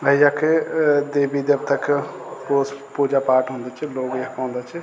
अ यख अ देवी देवता क रोज पूजा पाठ हुंदा च लोग यख औंदा च।